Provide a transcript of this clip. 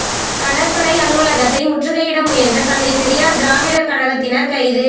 கடற்படை அலுவலகத்தை முற்றுகையிட முயன்ற தந்தை பெரியார் திராவிடர் கழகத்தினர் கைது